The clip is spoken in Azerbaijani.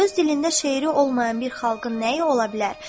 Öz dilində şeiri olmayan bir xalqın nəyi ola bilər?